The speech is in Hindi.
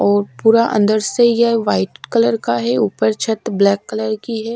और पूरा अंदर से यह व्हाइट कलर का है ऊपर छत ब्लैक कलर की है।